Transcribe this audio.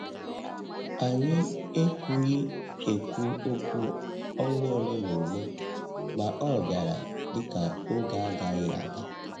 Anyị ekwughị ekwu okwu ọnwa ole na ole, ma ọ bịara dị ka oge agaghị aga.